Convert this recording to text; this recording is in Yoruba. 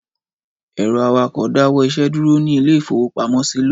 Ẹ̀rọ akawó dáwọ́ iṣẹ́ dúró ní ilé-ìfowópamọ́sí lónìí.